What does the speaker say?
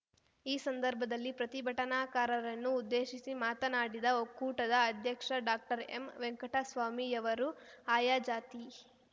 ಈ ಸಂದರ್ಭದಲ್ಲಿ ಪ್ರತಿಭಟನಾಕಾರರನ್ನು ಉದ್ದೇಶಿಸಿ ಮಾತನಾಡಿದ ಒಕ್ಕೂಟದ ಅಧ್ಯಕ್ಷ ಡಾಕ್ಟರ್ ಎಂ ವೆಂಕಟಸ್ವಾಮಿಯವರು ಆಯಾ ಜಾತಿ